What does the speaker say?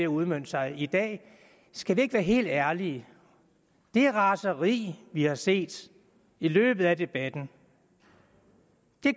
udmønte sig i dag skal vi ikke være helt ærlige det raseri vi har set i løbet af debatten